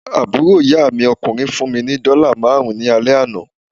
Àbúrò ìyá mi ọkùnrin fún mí ni dọ́là máàrún ní alẹ́ àná